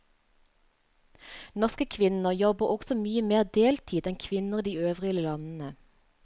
Norske kvinner jobber også mye mer deltid enn kvinner i de øvrige landene.